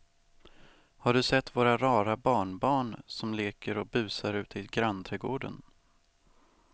Har du sett våra rara barnbarn som leker och busar ute i grannträdgården!